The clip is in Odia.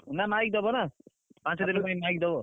ନା ମାଇକି ଦବ ନା ପାଞ୍ଚ ଦିନ ପାଇଁ ମାଇକି ଦବ।